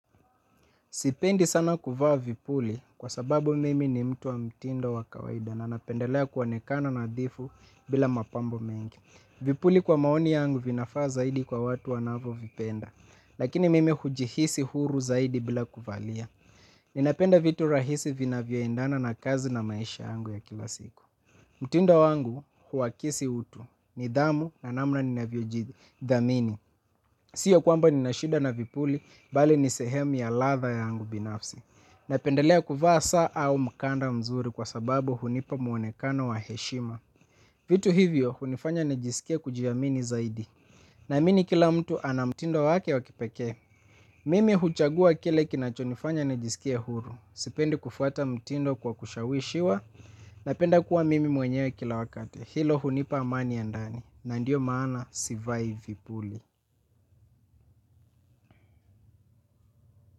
Sipendi sana kuvaa vipuli kwa sababu mimi ni mtu wa mtindo wakawaida na napendelea kuonekana nadhifu bila mapambo mengi. Vipuli kwa maoni yangu vinafaa zaidi kwa watu wanavo vipenda. Lakini mimi hujihisi huru zaidi bila kuvalia. Ninapenda vitu rahisi vina vyoindana na kazi na maisha yangu ya kila siku. Mtindo wangu huwakisi utu nidhamu na namna ninavyojidhamini. Sio kwamba ninashida na vipuli, bali nisehemu ya latha yangu binafsi. Napendelea kuvaa saa au mkanda mzuri kwa sababu hunipa mwonekano wa heshima. Vitu hivyo hunifanya nejisikie kujiamini zaidi. Naamini kila mtu ana mtindo wake wakipeke mimi huchagua kile kinachinifanya nijisikie huru sipendi kufuata mtindo kwa shawishiwa. Napenda kuwa mimi mwenyewe kila wakate. Hilo hunipa amani ya ndani. Na ndio maana sivai vipuli.